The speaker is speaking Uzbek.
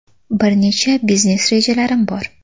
Bir necha biznes rejalarim bor.